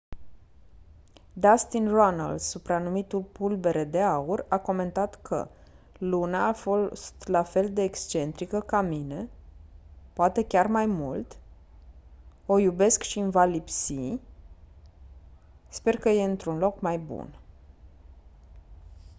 dustin runnels supranumit «pulbere de aur» a comentat că «luna a fost la fel de excentrică ca mine... poate chiar mai mult... o iubesc și îmi va lipsi... sper că e într-un loc mai bun».